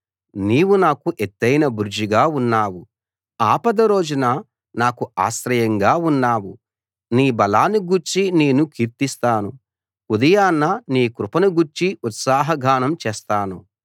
నీవు నాకు ఎత్తయిన బురుజుగా ఉన్నావు ఆపద రోజున నాకు ఆశ్రయంగా ఉన్నావు నీ బలాన్ని గూర్చి నేను కీర్తిస్తాను ఉదయాన నీ కృపను గూర్చి ఉత్సాహగానం చేస్తాను